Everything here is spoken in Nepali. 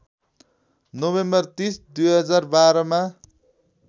नोभेम्बर ३० २०१२ मा